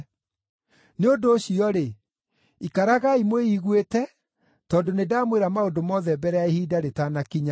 Nĩ ũndũ ũcio-rĩ, ikaragai mwĩiguĩte tondũ nĩndamwĩra maũndũ mothe mbere ya ihinda rĩtanakinya.